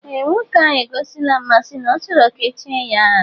Ee nwoke ahụ egosila mmasị na ọ chọrọ ka echie ya aha